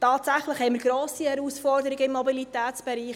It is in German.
Tatsächlich haben wir grosse Herausforderungen im Mobilitätsbereich.